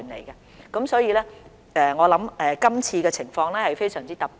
因此，我認為今次的情況非常特殊。